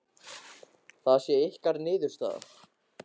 Það sé ykkar niðurstaða?